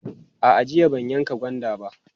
A'a, jiya ban yanka gwanda ba.